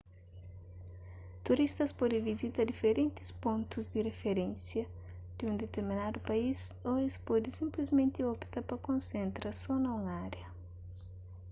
turistas pode vizita diferentis pontus di riferénsia di un diterminadu país ô es pode sinplismenti opta pa konsentra so na un ária